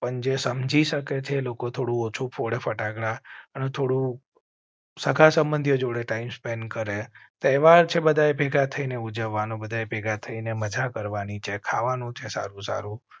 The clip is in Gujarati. પણ જે સમજી શકે તે લોકો થોડું ઓછુ ફટાકડા થોડો. સગા સંબંધીઓ જોડે ટાઈમ સ્પેન્ડ કર હૈ તહેવાર છે. બધાએ ભેગા થઈ ને ઉજવવા નો બધા ભેગા થઇ ને મજા કરવાની છે. ખાવા નું છે. સારું સારું